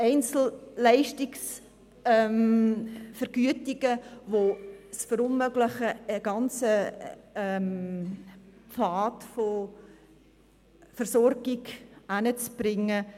TARMED, Einzelleistungsvergütungen, die es verunmöglichen, einen ganzen Pfad von Versorgung heranzubringen.